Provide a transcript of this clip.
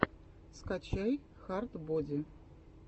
скачай хард боди